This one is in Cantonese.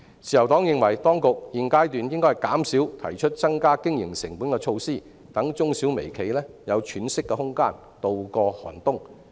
自由黨認為當局現階段應減少提出增加經營成本的措施，讓中小微企有喘息的空間，度過寒冬。